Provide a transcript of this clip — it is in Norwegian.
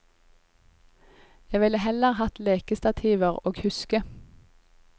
Jeg ville heller hatt lekestativer og huske.